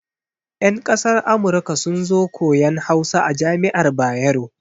Yan kasar Amurka sun zo koyan Hausa a jami'ar Bayero.